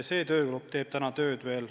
See töögrupp alles teeb tööd.